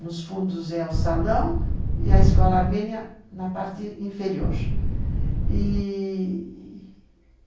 Nos fundos é o salão e a Escola Armênia na parte inferior.